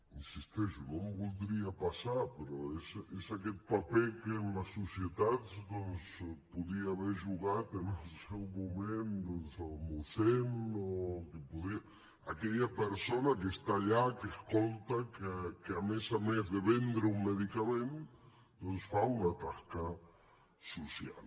hi insisteixo no em voldria passar però és aquest paper que en les societats doncs podia haver jugat en el seu moment el mossèn aquella persona que està allà que escolta que a més a més de vendre un medicament fa una tasca social